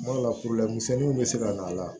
Kuma dɔ la bɛ se ka na a la